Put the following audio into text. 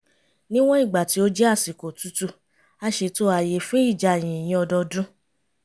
níwọ̀n ìgbà tí ó jẹ́ àsìkò otútù a ṣètò ààyè fún ìjà yìnyín ọdọọdún